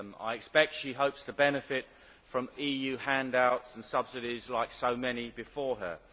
I expect she hopes to benefit from EU handouts and subsidies like so many before her.